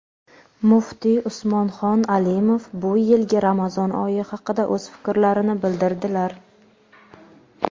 muftiy Usmonxon Alimov bu yilgi Ramazon oyi haqida o‘z fikrlarini bildirdilar.